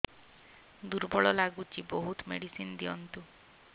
ଦୁର୍ବଳ ଲାଗୁଚି ବହୁତ ମେଡିସିନ ଦିଅନ୍ତୁ